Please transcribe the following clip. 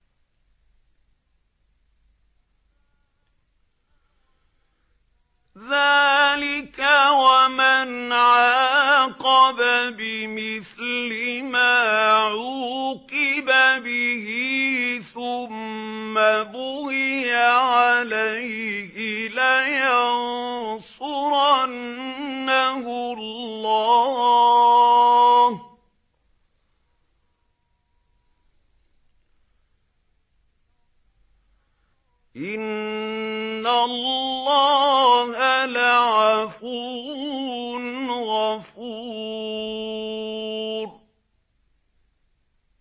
۞ ذَٰلِكَ وَمَنْ عَاقَبَ بِمِثْلِ مَا عُوقِبَ بِهِ ثُمَّ بُغِيَ عَلَيْهِ لَيَنصُرَنَّهُ اللَّهُ ۗ إِنَّ اللَّهَ لَعَفُوٌّ غَفُورٌ